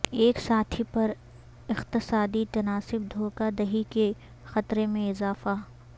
ایک ساتھی پر اقتصادی تناسب دھوکہ دہی کے خطرے میں اضافہ